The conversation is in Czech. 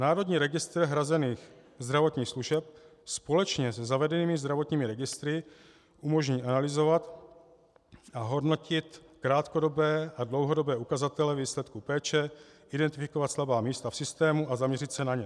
Národní registr hrazených zdravotních služeb společně se zavedenými zdravotními registry umožní analyzovat a hodnotit krátkodobé a dlouhodobé ukazatele výsledků péče, identifikovat slabá místa v systému a zaměřit se na ně.